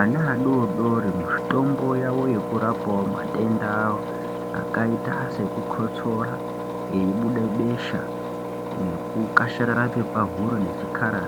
Ana adodori mitombo yekurapa matenda akaita ngebesha nekukasharara kwakaita